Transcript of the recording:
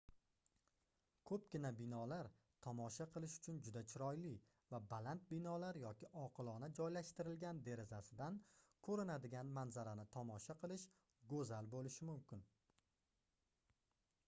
koʻpgina binolar tomosha qilish uchun juda chiroyli va baland binolar yoki oqilona joylashtirilgan derazasidan koʻrinadigan manzarani tomosha qilish goʻzal boʻlishi mumkin